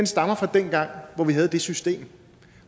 stammer fra dengang hvor vi havde det system